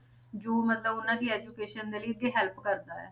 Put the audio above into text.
ਜੋ ਮਤਲਬ ਉਹਨਾਂ ਦੀ education ਦੇ ਲਈ ਅੱਗੇ help ਕਰਦਾ ਹੈ,